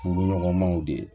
Furuɲɔgɔnmaw de